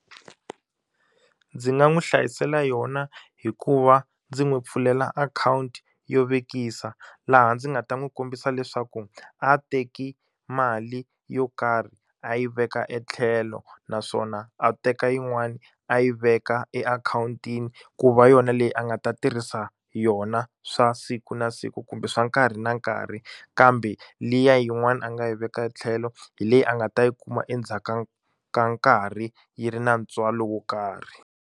Ndzi nga n'wi hlayisela yona hikuva ndzi n'wi pfulela akhawunti yo vekisa laha ndzi nga ta n'wi kombisa leswaku a teki mali yo karhi a yi veka etlhelo naswona a teka yin'wani a yi veka e akhawuntini ku va yona leyi a nga ta tirhisa yona swa siku na siku kumbe swa nkarhi na nkarhi kambe liya yin'wani a nga yi veka tlhelo hi leyi a nga ta yi kuma endzhaku ka ka nkarhi yi ri na ntswalo wo karhi.